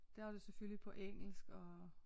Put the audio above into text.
Der er det jo selvfølgelig på engelsk og